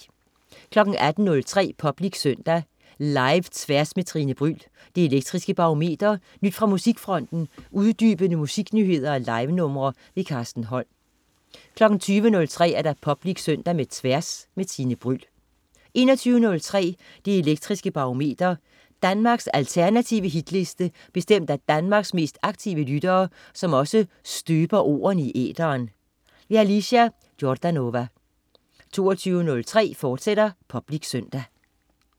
18.03 Public Søndag. Live-Tværs med Tine Bryld, Det Elektriske Barometer, nyt fra musikfronten, uddybende musiknyheder og livenumre. Carsten Holm 20.03 Public Søndag med Tværs. Tine Bryld 21.03 Det elektriske Barometer. Danmarks alternative hitliste bestemt af Danmarks mest aktive lyttere, som også støber ordene i æteren. Alicia Jordanova 22.03 Public Søndag, fortsat